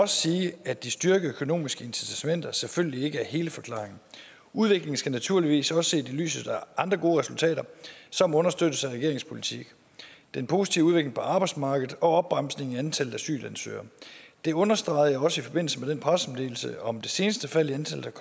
sige at de styrkede økonomiske incitamenter selvfølgelig ikke er hele forklaringen udviklingen skal naturligvis også ses i lyset af andre gode resultater som understøttes af regeringens politik den positive udvikling på arbejdsmarkedet og opbremsning i antallet af asylansøgere det understregede jeg også i forbindelse med den pressemeddelelse om det seneste fald i antallet